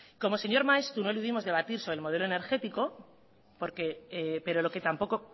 como señor maeztu no eludimos debatir de modelo energético porque pero lo que tampoco